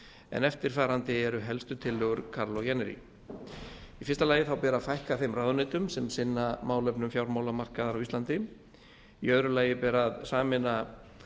en eftirfarandi eru helstu tillögur kaarlo jännäri fyrstu fækka ber ráðuneytum sem sinna málefnum fjármálamarkaðar á íslandi annars sameina ber